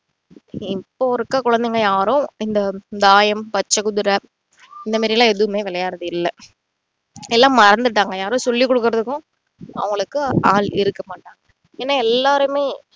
இப்போ இருக்கிற குழைந்தைங்க யாரும் இந்த தாயம், பச்சைக் குதிரை இந்த மாதிரி எல்லாம் எதுவுமே விளையாடுறது இல்லை எல்லாம் மறந்துட்டாங்க யாரும் சொல்லி குடுக்கிறதுக்கும் அவங்களுக்கு ஆள் இருக்க மாட்டாங்க ஏன்னா எல்லாருமே